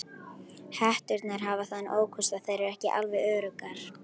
Hetturnar hafa þann ókost að þær eru ekki alveg öruggar.